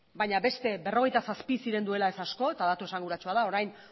baina beste berrogeita zazpi ziren duela ez asko eta datu esanguratsua da orain